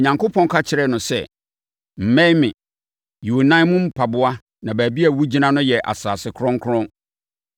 Onyankopɔn ka kyerɛɛ no sɛ, “Mmɛn me. Yi wo nan mu mpaboa na baabi a wogyina no yɛ asase kronkron.”